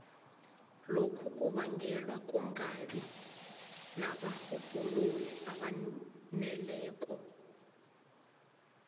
lokhu kubangelwa kungabi nabarhubhululi abaneleko